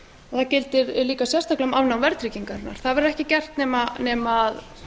það gildir sérstaklega um afnám verðtryggingarinnar það verður ekki gert nema